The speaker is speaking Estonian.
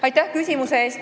Aitäh küsimuse eest!